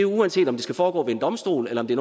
uanset om det skal foregå ved en domstol eller om det